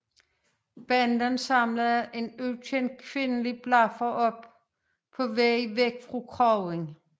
Banden samler en ukendt kvindelig blaffer op på vej bort fra kroen